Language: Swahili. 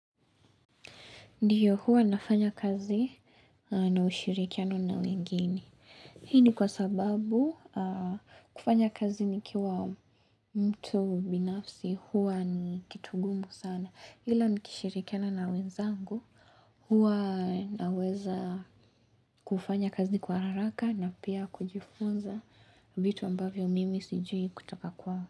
Ndiyo huwa nafanya kazi na ushirikiano na wengine. Hii ni kwa sababu kufanya kazi nikiwa mtu binafsi huwa ni kitu ngumu sana. Hila nikishirikiana na wenzangu huwa naweza kufanya kazi kwa haraka na pia kujifunza vitu ambavyo mimi sijui kutoka kwao.